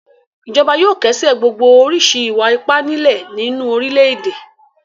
Ìjọba yóò kẹ́sẹ̀ gbogbo oríṣi ìwà-ipá nílẹ̀ nínú orílẹ̀-èdè.